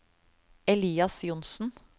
Elias Johnsen